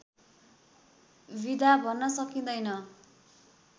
विधा भन्न सकिँदैन